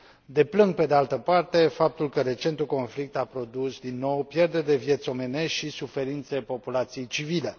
Deplâng, pe de altă parte, faptul că recentul conflict a produs, din nou, pierderi de vieți omenești și suferințe populației civile.